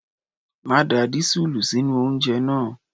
Má da dísúùlù sínú oúnjẹ náà!